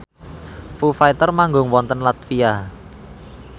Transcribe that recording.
Foo Fighter manggung wonten latvia